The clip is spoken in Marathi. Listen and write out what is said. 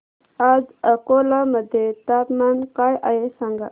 आज अकोला मध्ये तापमान काय आहे सांगा